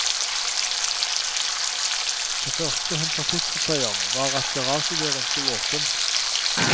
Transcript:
Det første hun forsikret seg om var at garasjedøren sto åpen.